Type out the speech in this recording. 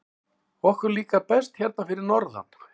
Okkur líkar best hérna fyrir norðan.